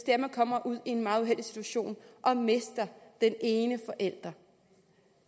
af at man kommer ud i en meget uheldig situation og mister den ene forælder